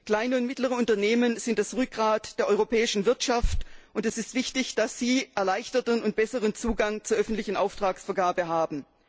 Kleine und mittlere Unternehmen sind das Rückgrat der europäischen Wirtschaft, und es ist wichtig, dass sie erleichterten und besseren Zugang zur öffentlichen Auftragsvergabe haben.